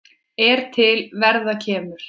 er til verðar kemur